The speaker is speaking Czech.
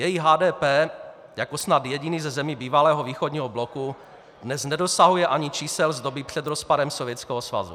Její HDP jako snad jediný ze zemí bývalého východního bloku, dnes nedosahuje ani čísel z doby před rozpadem Sovětského svazu.